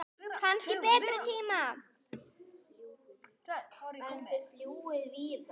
Kannski betri tíma.